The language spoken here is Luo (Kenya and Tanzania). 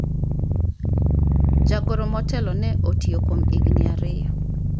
jagoro motelo ne otiyo kuom higni ariyo